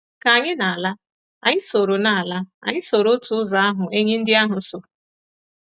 Ka anyị na-ala, anyị soro na-ala, anyị soro otu ụzọ ahụ enyí ndị ahụ so.